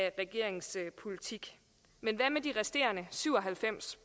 af regeringens politik men hvad med de resterende syv og halvfems